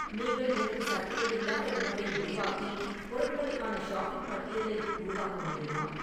நீங்கள் எனக்கு சர்க்கரை இல்லாத உணவை உருவாக்கி பொருட்களுக்கான ஷாப்பிங் பட்டியலை உருவாக்க முடியுமா